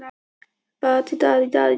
Það var köld og erfið vinna.